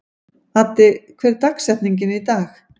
Addi, hver er dagsetningin í dag?